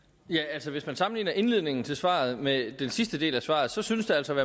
altså hvis man sammenligner indledningen til svaret med den sidste del af svaret så synes de altså at